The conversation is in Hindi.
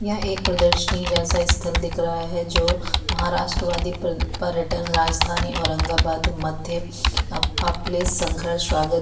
यह एक प्रदर्शनी जैसा स्थल दिख रहा है जो महाराष्ट्र वादी पर-पर्यटन राजधानी औरंगाबाद मध्य अप-आपले सहर्ष स्वागत --